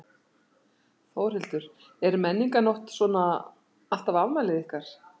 Þórhildur: Er Menningarnótt svona alltaf afmælið ykkar?